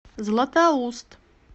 златоуст